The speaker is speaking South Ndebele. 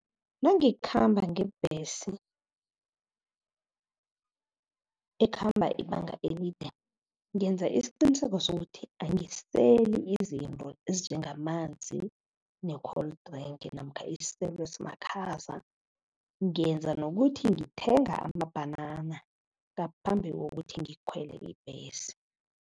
Nangikhamba ngebhesi ekhamba ibanga elide, ngenza isiqiniseko sokuthi angiseli izinto ezinjengamanzi ne-cold drink namkha isiselo esimakhaza. Ngenza nokuthi ngithenga amabhanana ngaphambi kokuthi ngikhwele ibhesi.